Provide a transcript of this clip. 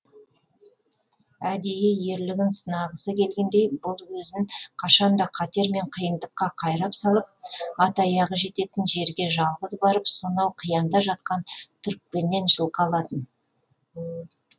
әдейі ерлігін сынағысы келгендей бұл өзін қашанда қатер мен қиындыққа қайрап салып ат аяғы жететін жерге жалғыз барып сонау қиянда жатқан түрікпеннен жылқы алатын